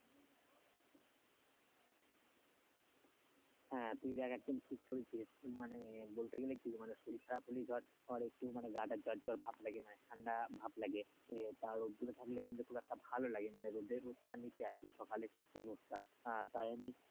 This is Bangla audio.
হ্যাঁ তুই দেখ একদম ঠিক ধরেছিস মানে বলতে গেলে কি মানে শরীর খারাপ হলেই ধর একটু গাটা জ্বর জ্বর ভাব লাগে, মানে ঠান্ডা ভাব লাগে তা রোদ্দুরে থাকলে খুব একটা ভালো লাগে মানে রোদ্দের সকালে যে রোদ টা তাই আমি,